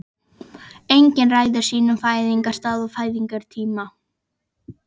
Enginn ræður sínum fæðingarstað og fæðingartíma.